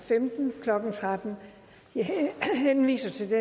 lovforslaget henvises til